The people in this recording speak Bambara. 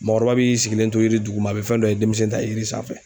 Mɔgɔkɔrɔba b'i sigilen to yiri duguma a bɛ fɛn dɔ ye denmisɛn t'a ye yiri sanfɛ.